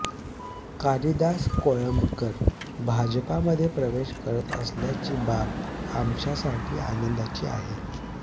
कालिदास कोळंबकर भाजपामध्ये प्रवेश करत असल्याची बाब आमच्यासाठी आनंदाची आहे